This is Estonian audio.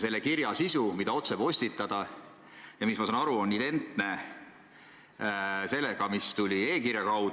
Selle kirja sisu, mida otsepostitada tahetakse, ma saan aru, on identne sellega, mis saadeti e-kirjana.